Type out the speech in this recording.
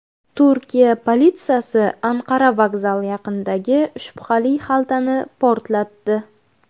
Turkiya politsiyasi Anqara vokzali yaqinidagi shubhali xaltani portlatdi.